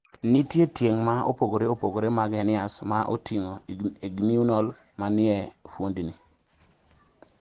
nitie tieng' ma opogore opogore mag hernias, ma oting'o inguinal, ma ni e fuondni